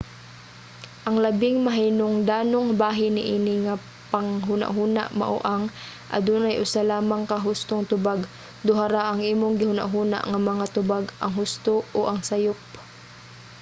ang labing mahinungdanong bahin niini nga panghunahuna mao ang: adunay usa lamang ka hustong tubag. duha ra ang imong gihunahuna nga mga tubag ang husto o ang sayup